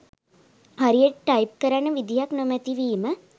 හරියට ටයිප් කරන්න විදියක් නොමැතිවීම.